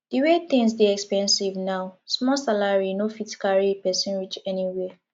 di way tins dey expensive now small salary no fit carry pesin reach anywhere